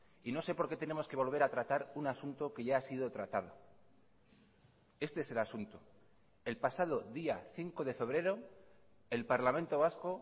y no sé por qué tenemos que volver a tratar un asunto que ya ha sido tratado este es el asunto el pasado día cinco de febrero el parlamento vasco